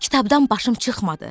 Kitabdan başım çıxmadı.